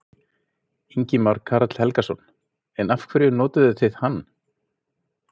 Ingimar Karl Helgason: En af hverju notuðuð þið hann?